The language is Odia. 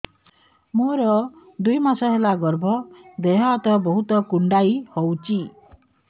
ମୋର ଦୁଇ ମାସ ହେଲା ଗର୍ଭ ଦେହ ହାତ ବହୁତ କୁଣ୍ଡାଇ ହଉଚି